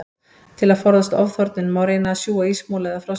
Til að forðast ofþornun, má reyna að sjúga ísmola eða frostpinna.